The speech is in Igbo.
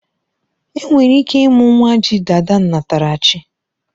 Enwere ike ịmụ nwa ji dada nnatara chi